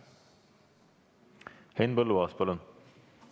Henn Põlluaas, palun!